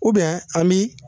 Ubiyɛn an min